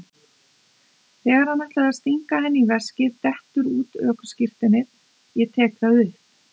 Þegar hann ætlar að stinga henni í veskið dettur út ökuskírteinið, ég tek það upp.